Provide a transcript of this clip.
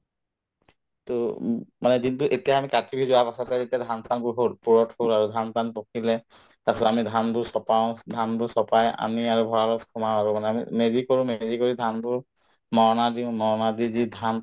to উম মানে এতিয়া আমি কাতি বিহু যোৱাৰ পাছতে যেতিয়া ধান-চান বোৰ হল পূৰঠ ধান-চান পকিলে তাৰপিছত আমি ধানবোৰ চপাও ধানবোৰ চপাই আনি আৰু ভড়ালত সোমাও আৰু মানে আমি মেজি কৰো মেজি কৰি ধানবোৰ মৰণা দিওঁ মৰণা দি যি ধান